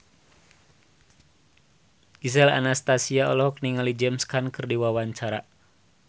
Gisel Anastasia olohok ningali James Caan keur diwawancara